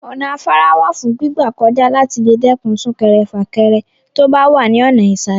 Ọ̀nà afárá wà fún gbígbà kọjá láti lè dẹ́kun sún-kẹrẹ-fà-kẹre tó bá wà ní ọ̀nà ìsàlè.